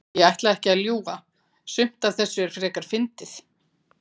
Ég ætla ekki að ljúga. sumt af þessu er frekar fyndið.